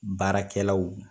Baarakɛlaw